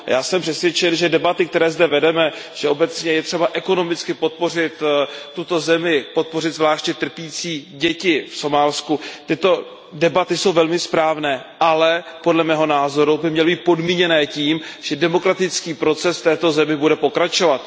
Já jsem přesvědčen, že debaty, které zde obecně vedeme o tom, že je třeba ekonomicky podpořit tuto zemi, podpořit zvláště trpící děti v Somálsku, jsou velmi správné, ale podle mého názoru by měly být podmíněny tím, že demokratický proces v této zemi bude pokračovat.